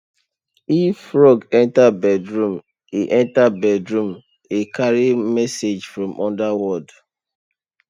if frog enter bedroom e enter bedroom e carry message from underworld